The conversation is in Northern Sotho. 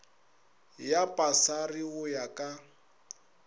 ya pasari go ya ka